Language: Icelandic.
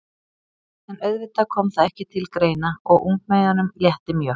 En auðvitað kom það ekki til greina og ungmeyjunum létti mjög.